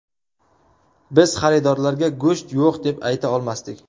Biz xaridorlarga go‘sht yo‘q deb ayta olmasdik.